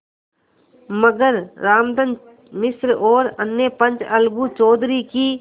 मगर रामधन मिश्र और अन्य पंच अलगू चौधरी की